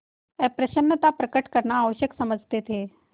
अप्रसन्नता प्रकट करना आवश्यक समझते थे